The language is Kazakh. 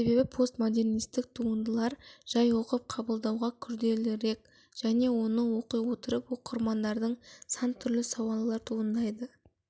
себебі постмодернисттік туындылар жай оқып қабылдауға күрделірек және оны оқи отырып оқырмандардың сан түрлі сауалдар туындайды